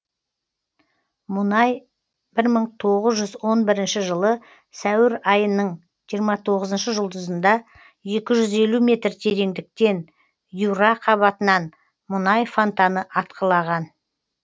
мұнай бір мың тоғыз жүз он бірінші жылы сәуір айынын жиырма тоғызыншы жұлдызында екі жүз елу метр тереңдіктен юра қабатынан мұнай фантаны атқылаған